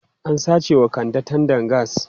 An sace wa Kande tandan gas.